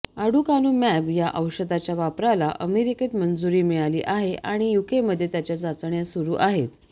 aducanumab या औषधाच्या वापराला अमेरिकेत मंजुरी मिळाली आहे आणि युकेमध्ये त्याच्या चाचण्या सुरू आहेत